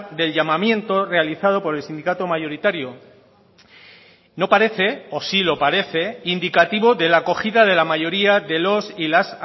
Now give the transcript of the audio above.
del llamamiento realizado por el sindicato mayoritario no parece o sí lo parece indicativo de la acogida de la mayoría de los y las